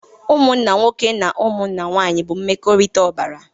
Ụmụnna nwoke na ụmụnna nwanyị bụ mmekọrịta ọbara